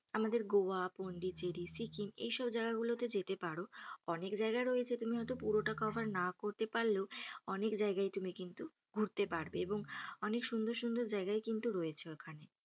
আমাদের গোয়া, পন্ডিচেরি, সিকিম এইসব জায়গাগুলোতে যেতে পারো। অনেক জায়গা রয়েছে তুমি হয়ত পুরোটা cover না করতে পারলেও অনেক জায়গায় তুমি কিন্তু ঘুরতে পারবে এবং অনেক সুন্দর সুন্দর জায়গায় কিন্তু র‌য়েছে ওখানে।